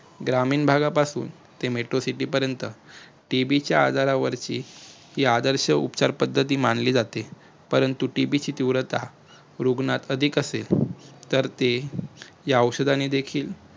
ग्रामीण भागापासून ते metro city पर्यंत TB च्या आजारावरची हि आदर्श उपचार पद्धती मानली जाते. परंतु TB ची तीव्रता रुग्णात अधिक असेल तर ते या औषधाने देखील